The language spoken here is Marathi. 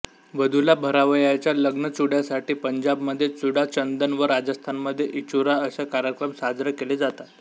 वधूला भरावयाच्या लग्नचुड्यासाठी पंजाबमध्ये चुडाचंदन व राजस्थानमध्ये इचुरा असे कार्यक्रम साजरे केले जातात